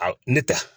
A ne ta